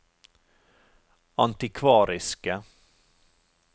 antikvariske